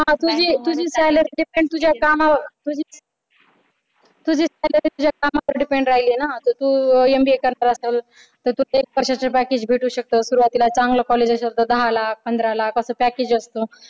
हा तुझी तुझी salary payment तुझ्या कामावर तुझी salary तुझ्या कामावर depend राहील ना जर तू करणार असलं तर तुला एक वर्ष्याचं package भेटू शकत सुरुवातीला चांगलं package असलं तर दहा लाख पंधरा लाख असं package असत